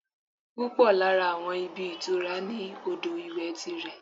Púpọ̀ lára àwọn ibi ìtura ní odò ìwẹ̀ ti rẹ̀